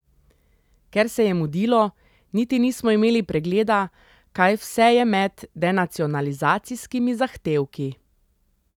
Ker se je mudilo, niti nismo imeli pregleda, kaj vse je med denacionalizacijskimi zahtevki.